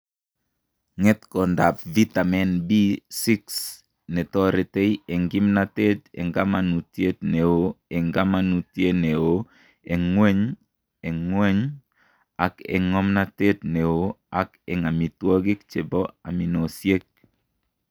Ng'etkondap vitamini B6 ne toretei eng' kimnateet eng' kamanuutyet ne oo eng' kamanuutyet ne oo eng' ng'wony, eng' ng'wony ak eng' ng'omnateet ne oo, ak eng' amitwogik che po aminosyek.